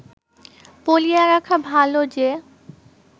বলিয়া রাখা ভাল যে